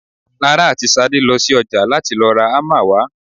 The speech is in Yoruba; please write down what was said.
Lara àti Ṣadé lọ sí ọjà láti lọ ra hámà wá.